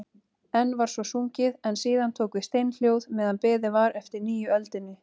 Enn var svo sungið en síðan tók við steinhljóð meðan beðið var eftir nýju öldinni.